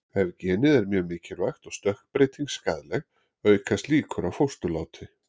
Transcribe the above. Ef genið er mjög mikilvægt og stökkbreytingin skaðleg, aukast líkur á fósturláti.